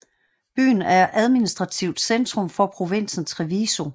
Byen er administrativt centrum for provinsen Treviso